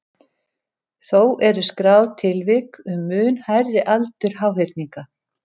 Þó eru skráð tilvik um mun hærri aldur háhyrninga.